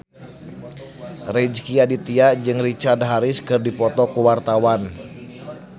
Rezky Aditya jeung Richard Harris keur dipoto ku wartawan